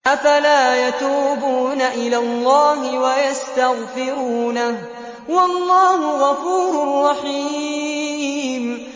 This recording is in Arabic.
أَفَلَا يَتُوبُونَ إِلَى اللَّهِ وَيَسْتَغْفِرُونَهُ ۚ وَاللَّهُ غَفُورٌ رَّحِيمٌ